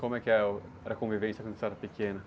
Como é que é o, era a convivência quando vocês eram pequenos?